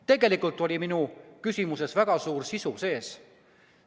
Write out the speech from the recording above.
Tegelikult oli minu küsimuses väga suur sisu sees.